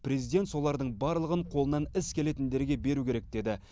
президент солардың барлығын қолынан іс келетіндерге беру керек деді